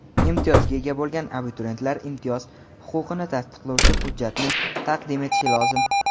Imtiyozga ega bo‘lgan abituriyentlar imtiyoz huquqini tasdiqlovchi hujjatni taqdim etishi lozim.